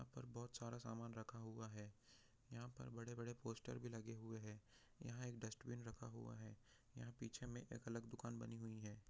यहाँ पर बहुत सारा सामान रखा हुआ है यहाँ पर बहुत बड़े बड़े पोस्टर भी लगे हुए है यहाँ एक डस्टबिन भी रखा हुआ है यहाँ पर पीछे एक अलग दुकान भी बनी हुई हैं।